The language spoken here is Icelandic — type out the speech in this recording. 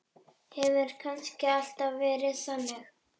Hefur kannski alltaf verið þannig?